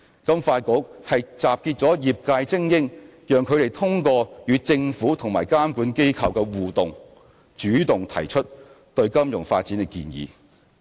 金發局集結了業界精英，讓他們通過與政府及監管機構的互動，主動提出對金融發展的建議。